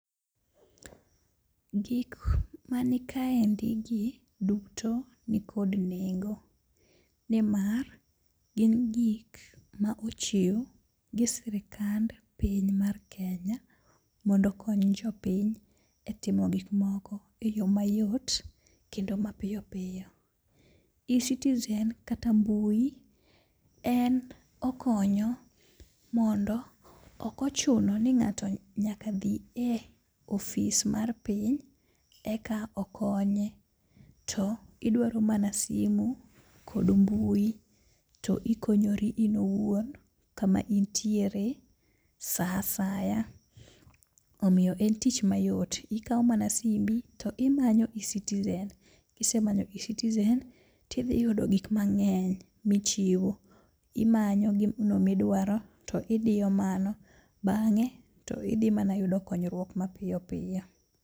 Gik manikaendi gi duto nikod nengo, nimar gin gik ma ochiw gi sirikand piny mar Kenya mondo okony jopiny e timo gikmoko e yo mayot kendo mapiyo piyo. eCitizen kata mbui en okonyo mondo ok ochuno ni ng'ato nyaka dhi e ofis mar piny eka okonye, to idwaro mana simu kod mbui to ikonyori in owuon kama intiere sa asaya. Omiyo en tich mayot, ikawo mana simbi to imanyo eCitizen, kisemanyo eCitizen tidhiyudo gikmang'eny michiwo. Imanyo gino midwaro to idiyo mano bang'e to idhi mana yudo konyruok mapiyo piyo.